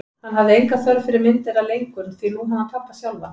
Hann hafði enga þörf fyrir myndina lengur, því nú hafði hann pabba sjálfan.